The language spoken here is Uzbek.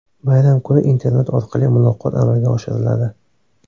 Bayram kuni internet orqali muloqot amalga oshiriladi.